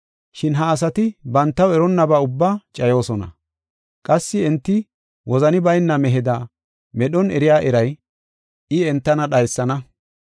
Shin ha asati bantaw eronnabaa ubbaa cayoosona; qassi enti wozani bayna meheda medhon eriya eray, I entana dhaysana.